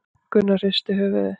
Gunnar hristi höfuðið.